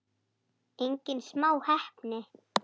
Engin smá heppni!